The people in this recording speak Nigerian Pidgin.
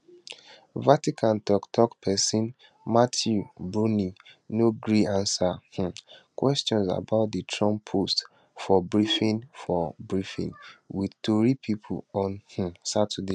vatican toktok pesin matteo bruni no gree ansa um questions about di trump post for briefing for briefing wit tori pipo on um saturday